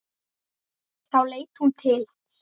Þá leit hún til hans.